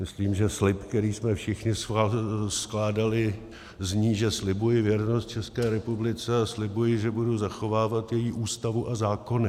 Myslím, že slib, který jsme všichni skládali, zní, že slibuji věrnost České republice a slibuji, že budu zachovávat její Ústavu a zákony.